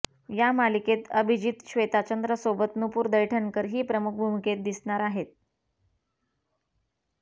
या मालिकेत अभिजीत श्वेताचंद्र सोबत नुपूर दैठणकर ही प्रमुख भूमिकेत दिसणार आहे